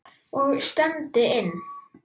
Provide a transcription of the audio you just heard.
Og stefndi inn